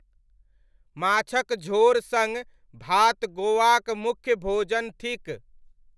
माछक झोर सङ्ग भात गोवाक मुख्य भोजन थिक।